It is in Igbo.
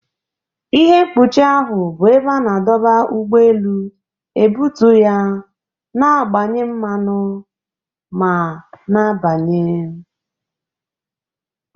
Ihe mkpuchi ahụ bụ ebe a na-adọba ụgbọ elu, ebutu ya, na-agbanye mmanụ ma na-abanye.